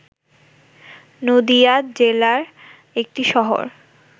নদীয়া জেলার একটি শহর